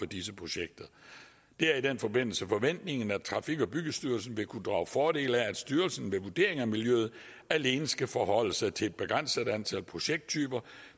disse projekter det er i den forbindelse forventningen at trafik og byggestyrelsen vil kunne drage fordel af at styrelsen ved vurdering af miljøet alene skal forholde sig til et begrænset antal projekttyper